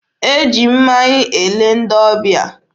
E ji mmanya ele ndị ọbịa.